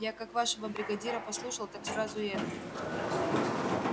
я как вашего бригадира послушал так сразу и это